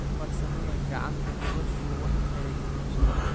Farsamada kacanta noloshu wax aya kabadasha.